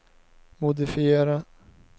modifiera